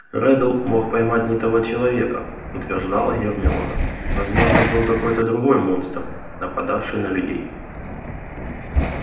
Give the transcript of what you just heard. реддл мог поймать не того человека утверждала гермиона возможно был какой-то другой монстр нападавший на людей